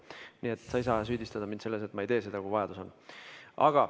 Nii et sa ei saa mind süüdistada selles, et ma ei tee seda, kui vajadus on.